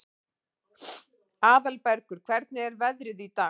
Aðalbergur, hvernig er veðrið í dag?